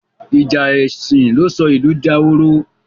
Ìjà èsìn ló sọ ìlú dahoro.